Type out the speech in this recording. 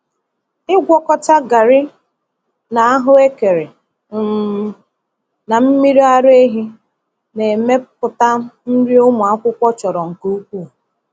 Ịgwakọta garri na ahuekere um na mmiri araehi na-emepụta nri ụmụ akwụkwọ chọrọ nke ukwuu.